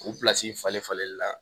O falen falenli la